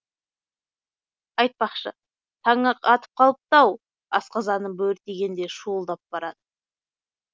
айтпақшы таңы атып қалыпты ау асқазаным бөрі тигендей шуылдап барады